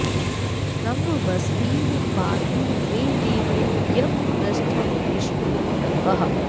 रं वस्तिं पातु मे देवो यं पृष्ठं विष्णुरूपकः